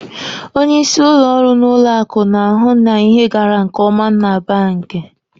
Onyeisi ụlọ ọrụ n'ụlọ akụ na-ahụ na ihe gara nke ọma na banki.